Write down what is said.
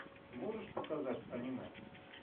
можешь показать аниме